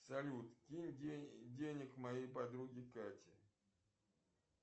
салют кинь денег моей подруге кате